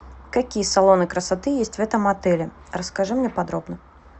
какие салоны красоты есть в этом отеле расскажи мне подробно